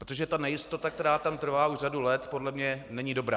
Protože ta nejistota, která tam trvá už řadu let, podle mě není dobrá.